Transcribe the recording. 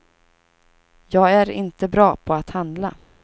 Jag är inte bra på att handla.